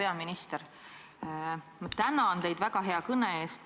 Hea peaminister, ma tänan teid väga hea kõne eest!